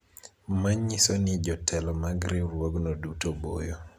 manyiso ni jotelo mag riwruogno duto boyo